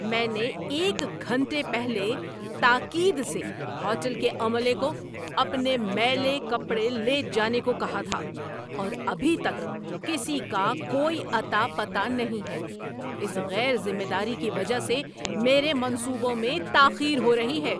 میں نے ایک گھنٹے پہلے تاکید سے ہوٹل کے عملے کو اپنے میلے کپڑے لے جانے کو کہا تھا، اور ابھی تک کسی کا کوئی اتہ پتہ نہیں ہے۔ اس غیر ذمہ داری کی وجہ سے میرے منصوبوں میں تاخیر ہو رہی ہے!